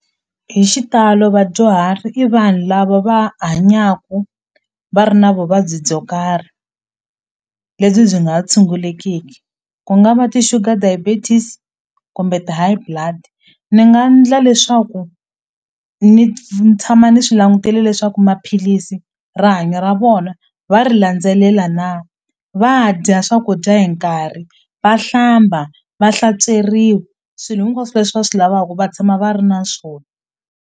Hi xitalo vadyuhari i vanhu lava va hanyaku va ri na vuvabyi byo karhi lebyi byi nga ha tshungulekiki ku nga va ti-sugar diabetes kumbe ti-high blood ni nga ndla leswaku ni ni tshama ni swi langutile leswaku maphilisi rihanyo ra vona va ri landzelela na va dya swakudya hi nkarhi va hlamba va hlantsweriwa swilo hinkwaswo leswi va swilavaku va tshama va ri na swona.